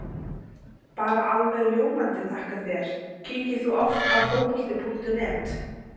Bara alveg ljómandi þakka þér Kíkir þú oft á Fótbolti.net?